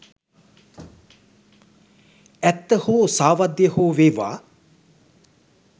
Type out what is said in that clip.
ඇත්ත හෝ සාවද්‍ය හෝ වේවා